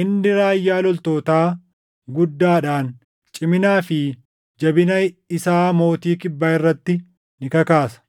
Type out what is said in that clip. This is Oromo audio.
“Inni raayyaa loltootaa guddaadhaan ciminaa fi jabina isaa mootii Kibbaa irratti ni kakaasa.